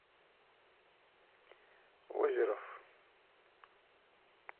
озеров